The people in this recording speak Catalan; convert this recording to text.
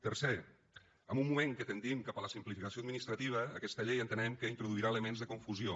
tercer en un moment que tendim cap a la simplificació administrativa aquesta llei entenem que introduirà elements de confusió